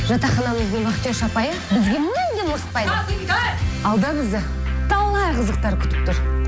жатақханамыздың вахтерша апайы бізге мүлдем ұрыспайды алда бізді талай қызықтар күтіп тұр